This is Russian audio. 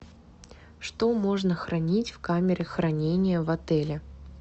что можно хранить в камере хранения в отеле